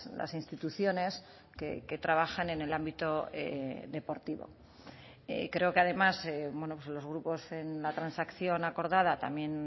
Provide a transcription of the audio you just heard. las instituciones que trabajan en el ámbito deportivo creo que además los grupos en la transacción acordada también